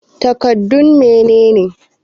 Takardun mene ne?